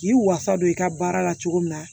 K'i wasa don i ka baara la cogo min na